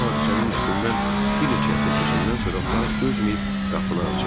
Bu hadisənin üstündən bir neçə həftə keçəndən sonra Frank dözməyib qapını açıb.